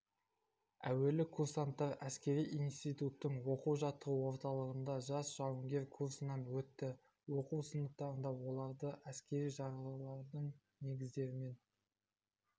әуелі курсанттар әскери институттың оқу-жаттығу орталығында жас жауынгер курсынан өтті оқу сыныптарында оларды әскери жарғылардың негіздерімен